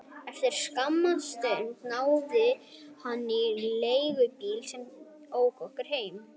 Eftir skamma stund náði hann í leigubíl sem ók honum heim.